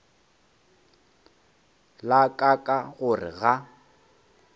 la ka ka gore ga